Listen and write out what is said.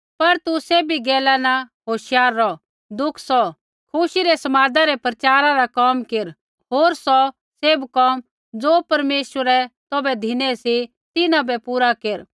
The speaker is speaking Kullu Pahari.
पर तू सैभी गैला न होशियार रौह दुख सौह खुशी रै समादा रै प्रचारा रा कोम केर होर सौ सैभ कोम ज़ो परमेश्वरै तौभै धिनै सी तिन्हां बै पूरा केर